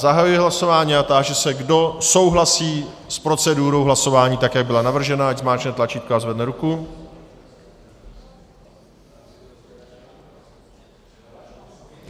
Zahajuji hlasování a táži se, kdo souhlasí s procedurou hlasování tak, jak byla navržena, ať zmáčkne tlačítko a zvedne ruku.